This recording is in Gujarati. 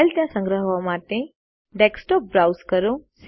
ફાઈલ ત્યાં સંગ્રહવા માટે ડેસ્કટોપ બ્રાઉઝ કરો